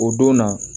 O don na